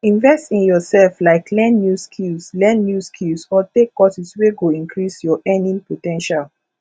invest in your self like learn new skills learn new skills or take courses wey go increase your earning po ten tial